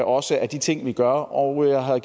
også af de ting vi gør og jeg har